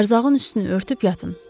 Ərzağın üstünü örtüb yatın.